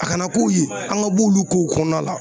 A kana k'o ye an ka b'olu kow kɔnɔna la